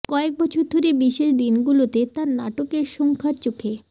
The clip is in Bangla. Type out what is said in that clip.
কয়েক বছর ধরে বিশেষ দিনগুলোতে তার নাটকের সংখ্যা চোখে